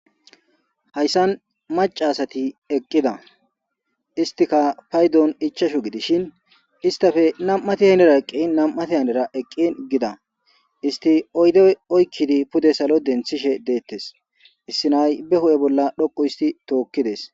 hayssan maca asati eqqida istika paydon ichashu gidishin istafe nam7ati haynera eqqi nam7ati haynera eqqin gida isti oyde oykkidi pude salo denthishe deettes issinay be hu7e bolla dhoqu isti tookkides